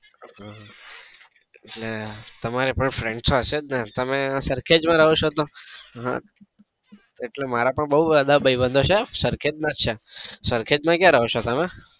એટલે તમારે પણ friends તો હશે જ ને. તમે સરખેજ માં રહો છો તો હા એટલે મારે પણ બઉ બધા ભાઈ બન્ધ છે. સરખેજ જ ના જ છે તમે સરખેજ માં ક્યાં રહો છો?